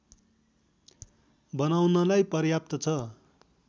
बनाउनलाई पर्याप्त छ